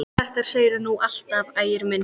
Þetta segirðu nú alltaf, Ægir minn!